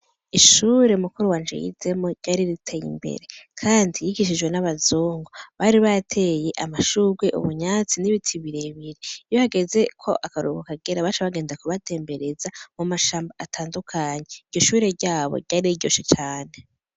Ishure mukuru wanje yizemo ryaririteye imbere, kandi yigishijwe n'abazungo bari bateye amashurwe ubunyatsi n'ibitiibirebiri iyo hageze ko akarubu kagera baca bagenda kubatembereza mu mashamba atandukanyi iryo ishure ryabo ryari eryoshe cane.